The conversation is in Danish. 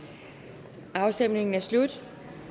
der afstemningen er slut